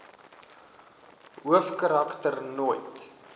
hoofkarak ter nooit